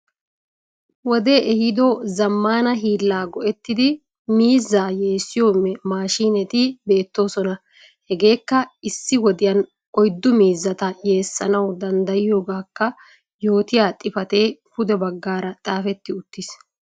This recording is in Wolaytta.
wode ehido zammanaa hiilla go'ettidi miizzaa yeesiyo maashineti beettosona. hegeekka issi wodiyan oyddu miizzata yeesanaawu danddayiyoogakkaa yootiya xifate puudde baggara xafeti uttis.